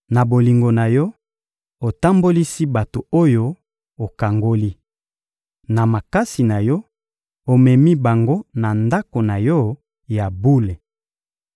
Na bolingo na Yo, otambolisi bato oyo okangoli. Na makasi na Yo, omemi bango na Ndako na Yo ya bule.